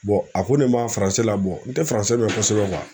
a ko ne ma la n tɛ mɛn kosɛbɛ